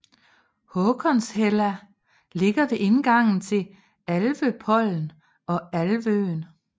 Håkonshella ligger ved indgangen til Alvøpollen og Alvøen